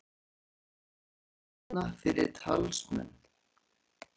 Leita lausna fyrir talsmann